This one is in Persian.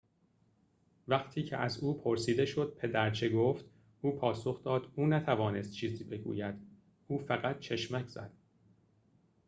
وقتی که از او پرسیده شد پدر چه گفت او پاسخ داد او نتوانست چیزی بگوید او فقط چشمک زد